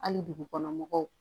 Hali dugukɔnɔ mɔgɔw